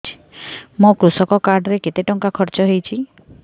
ମୋ କୃଷକ କାର୍ଡ ରେ କେତେ ଟଙ୍କା ଖର୍ଚ୍ଚ ହେଇଚି